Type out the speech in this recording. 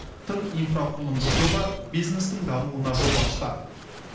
тың инфрақұрылымдық жоба бизнестің дамуына жол ашты